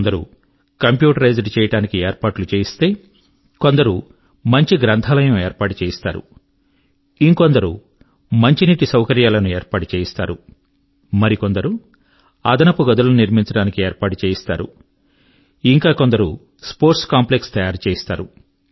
కొందరు కంప్యూటరైజ్డ్ చేయడానికి ఏర్పాట్లు చేయిస్తే కొందరు మంచి గ్రంథాలయం ఏర్పాటు చేయిస్తారు ఇంకొందరు మంచినీటి సౌకర్యాలను ఏర్పాటు చేయిస్తారు మరికొందరు అదనపు గదులను నిర్మించడానికి ఏర్పాటు చేయిస్తారు ఇంకా కొందరు స్పోర్ట్స్ కాంప్లెక్స్ తయారు చేయిస్తారు